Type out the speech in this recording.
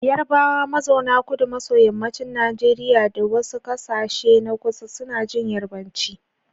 Yarabawa mazauna kudu maso yammacin Najeriya da wasu kasashe na kusa suna jin Yarbanci.